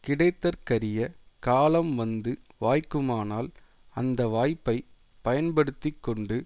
கிடைத்தற்கறிய காலம் வந்து வாய்க்குமானால் அந்த வாய்ப்பை பயன்படுத்தி கொண்டு